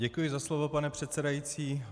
Děkuji za slovo, pane předsedající.